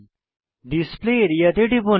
display area তে টিপুন